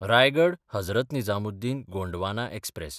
रायगड–हजरत Nizamuddin Gondwana express